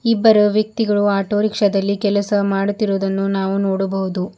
ಇಬ್ಬರು ವ್ಯಕ್ತಿಗಳು ಆಟೋ ರಿಕ್ಷಾದಲ್ಲಿ ಕೆಲಸ ಮಾಡುತ್ತಿರುವುದನ್ನು ನಾವು ನೋಡಬಹುದು.